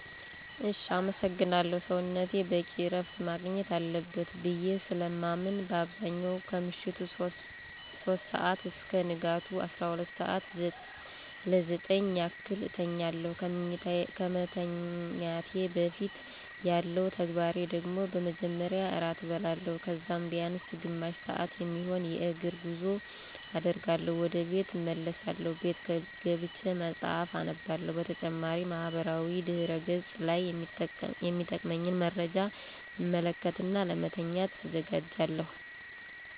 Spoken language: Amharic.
እሽ አመሰግናለሁ. ሰዉነቴ በቂ ረፍት ማግኘት አለበት ብዬ ስለማምን በአብዛኛው ከምሽቱ 3:00 አስከ ንጋቱ 12:00 ለ 9:00 ያክል አተኛለሁ. ከመተኛቴ በፊት ያለው ተግባሬ ደግሞ በመጀመሪያ ራት እበላለሁ. ከዛም ቢያንስ ግማሽ ሰዓት የሚሆን የእግር ጉዞ አደርግና ወደቤት እመለሳለሁ. ቤት ገብቼ መጽሐፍ አነባለሁ. በተጨማሪም ማህበራዊ ድህረ ገፅ ላይ የሚጠቅመኝን መረጃ እመለከትና ለመተኛት እዘጋጃለሁ.